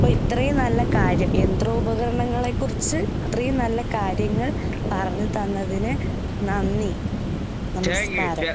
അപ്പെ ഇത്രയും നല്ല കാര്യം യന്ത്രോപകരണങ്ങളെക്കുറിച്ച് ഇത്രയും നല്ല കാര്യങ്ങൾ പറഞ്ഞുതന്നതിന് നന്ദി നമസ്കാരം.